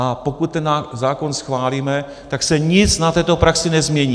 A pokud ten zákon schválíme, tak se nic na této praxi nezmění.